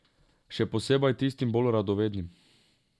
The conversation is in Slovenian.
Še posebej tistim bolj radovednim.